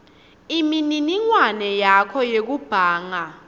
imininingwane yakho yekubhanga